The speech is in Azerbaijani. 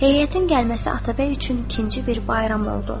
Heyətin gəlməsi Atabəy üçün ikinci bir bayram oldu.